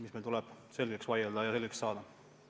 See tuleb selgeks vaielda ja selgeks saada.